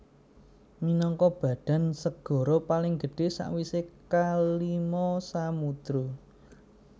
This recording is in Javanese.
Minangka badan segara paling gedhé sawisé kalima samudra